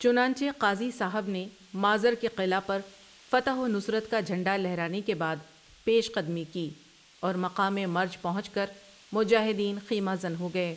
چنانچہ قاضی صاحب نے مازر کے قلعہ پر فتح و نصرت کا جھنڈا لہرانے کے بعد پیش قدمی کی اورمقامِ مرج پہنچ کر مجاہدین خیمہ زن ہوگئے ۔